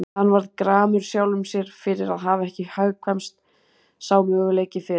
Hann varð gramur sjálfum sér fyrir að hafa ekki hugkvæmst sá möguleiki fyrr.